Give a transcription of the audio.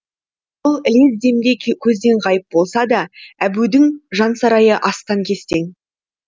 ілез демде көзден ғайып болса да әбудің жансарайы астан кестең